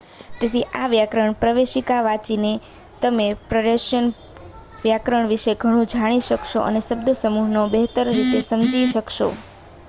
તેથી આ વ્યાકરણ પ્રવેશિકા વાંચીને તમે પર્શિયન વ્યાકરણ વિશે ઘણું જાણી શકશો અને શબ્દસમૂહોને બહેતર રીતે સમજી શકશો